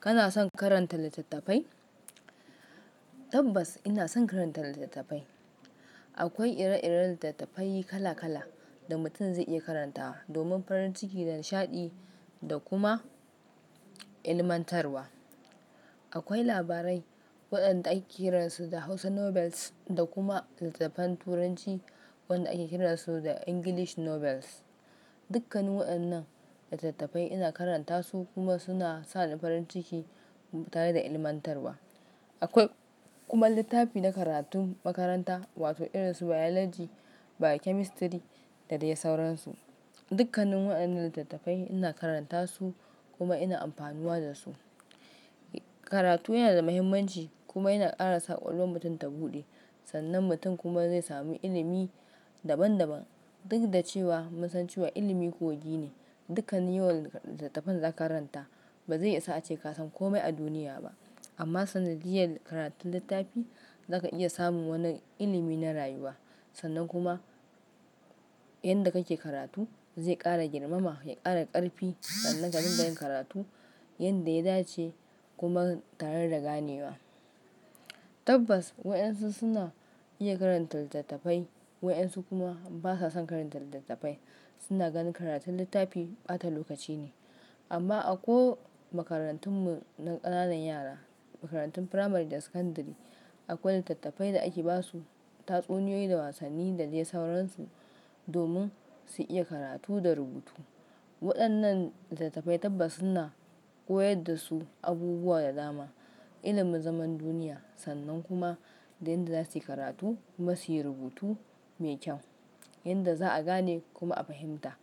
Kana son karanta littattafai? Tabbas ina son karanta littattafai. Akwai ire-iren littattafai kala kala da mutum zai iya karantawa domin farin ciki da nishaɗi da kuma ilmantarwa. Akwai labarai waɗanda ake kiran su da Hausa Novels da kuma littattafan Turanci wanda ake kiran su da English Novels. Dukkan waɗannan littattafai ina karanta su kuma suna sa ni farin ciki tare da ilmantarwa. Akwai kuma littafi na karatun makaranta wato irin su Biology, Biochemistry da dai sauransu. Dukkanin waɗannan littattafai ina karanta su kuma ina amfanuwa da su. Karatu yana da muhimmanci kuma yana ƙara sa ƙwaƙwalwar mutum ta buɗe, sannan mutum kuma zai sami ilimi daban-daban. Duk da cewa mun san cewa ilimi kogi ne, dukkan yawan littattafan da za ka karanta ba zai isa a ce ka san komai a duniya ba. Amma sanadiyar karatun littafi zaka iya samun wani ilimi na rayuwa, sannan kuma inda kake karatu zai ƙara girmama, ya ƙara ƙarfi sannan ka dinga yin karatu yanda ya dace kuma tare da ganewa. Tabbas wayansu suna iya karanta littattafai, wayansu kuma basa son karanta littattafai, suna ganin karatun littafi ɓata lokaci ne. Amma a ko makarantun mu na ƙananan yara, makarantun Firamare da Sakandare, akwai littattafai da ake basu tatsuniyoyi da wasanni da dai sauransu domin su iya karatu da rubutu. Waɗannan littattafai tabbas suna koyar da su abubuwa da dama, ilimin zaman duniya sannan kuma da inda za su yi karatu kuma su yi rubutu mai kyau yanda za a gane kuma a fahimta.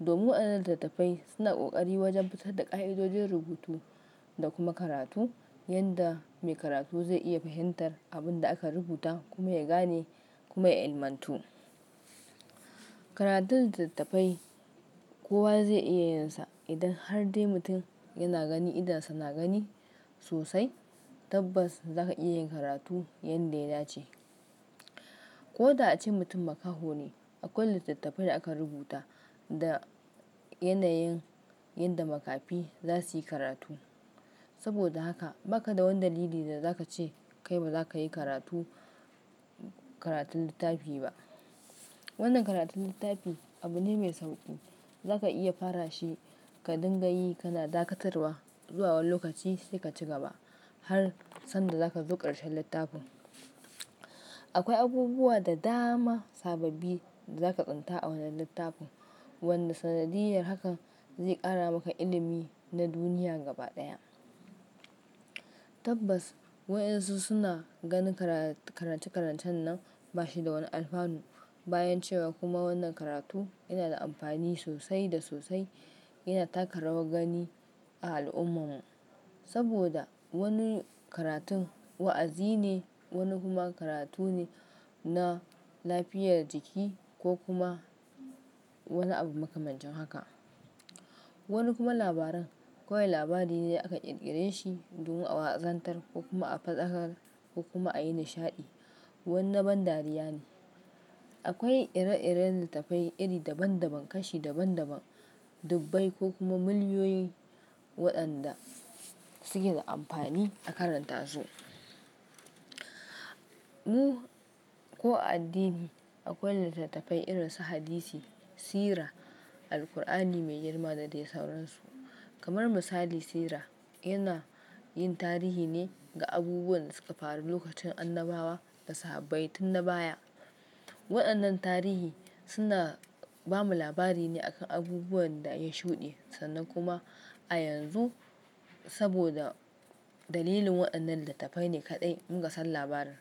Domin waɗannan littattafai suna ƙoƙari wajen fitar da ƙa'idodin rubutu da kuma karatu yanda mai karatu zai iya fahimtar abin da aka rubuta kuma ya gane kuma ya ilmantu. Karatun littattafai kowa zai iya yinsa idan hardai mutum yana gani idonsa na gani sosai, tabbas zaka iya yin karatu yanda ya dace. Ko da ace mutum makaho ne, akwai littattafai da aka rubuta da yanayin yanda makafi za su yi karatu. Saboda haka ba ka da wani dalili da za ka ce kai ba za ka yi karatu, karatun littafi ba. Wannan karatun littafi abu ne mai sauƙi. Za ka iya fara shi ka dinga yi kana dakatarwa zuwa wani lokaci sai ka ci gaba har sanda za ka zo karshen littafin. Akwai abubuwa da dama, sababbi da za ka tsinta a wannan littafin wanda sanadiyar hakan zai ƙara maka ilimi na duniya gaba ɗaya. Tabbas wayansu suna ganin karatu, karance-karancen nan bashi da wani alfanu bayan cewa kuma wannan karatu yana da amfani sosai da sosai, yana taka rawar gani a al'ummarmu. Saboda wani karatun wa'azi ne, wani kuma karatu ne na lafiyar jiki ko kuma wani abu makamancin haka. Wani kuma labaran kawai labari ne da aka ƙirƙire shi domin a wanzantar ko kuma a faɗakar ko kuma a yi nishaɗi. Wannan ban dariya ne. Akwai ire-iren littattafai iri daban-daban, kashi daban-daban, dubbai ko kuma mulyoyi waɗanda suke da amfani a karanta su. Mu ko addini akwai littattafai irin su Hadisi, Sira, Alqur'ani Mai Girma da dai sauransu. Kamar misali, Sira yana yin tarihi ne ga abubuwan da suka faru lokacin Annabawa da Sahabaitun na baya. Waɗannan tarihi suna bamu labari ne akan abubuwan da ya shuɗe, sannan kuma a yanzu saboda dalilin waɗannan littattafai ne kaɗai muka san labarin.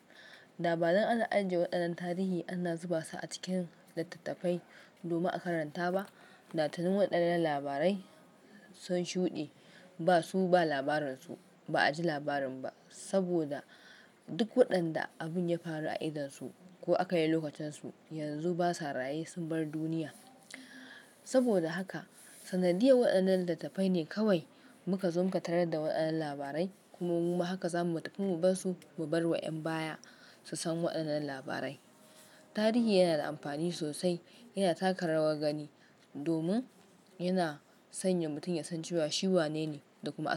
Da ba dan an ajiye waɗannan tarihi ana zuba su a cikin littattafai domin a karanta ba, da tuni waɗannan labarai sun shuɗe basu ba labarin su, ba a ji labarin ba saboda duk waɗanda abun ya faru a idonsu ko aka yi lokacinsu yanzu basa, raye sun bar duniya. Saboda haka sanadiyar waɗannan littattafai ne kawai muka zo muke tare da waɗannan labarai kuma mu haka za mu tafi mu basu, mu bar wa ƴan baya su san waɗannan labarai. Tarihi yana da amfani sosai, yana taka rawar gani domin yana sanya mutum ya san cewa shi wanene da kuma.